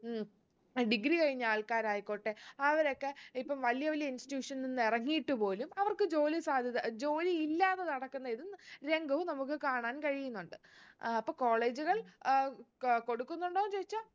ഉം degree കഴിഞ്ഞ ആൾക്കാരായിക്കോട്ടെ അവരൊക്കെ ഇപ്പം വലിയ വലിയ institution നിന്ന് ഇറങ്ങിയിട്ട് പോലും അവർക്ക് ജോലി സാധ്യത ജോലി ഇല്ലതെ നടക്കുന്ന ഇതും രംഗവും നമുക്ക് കാണാൻ കഴിയുന്നുണ്ട് ആഹ് അപ്പൊ college കൾ അഹ് ക് കൊടുക്കുന്നുണ്ടോ ചോയിച്ചാ